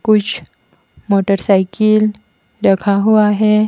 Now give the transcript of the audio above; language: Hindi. कुछ मोटरसाइकिल रखा हुआ है।